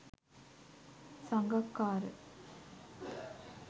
sangakkara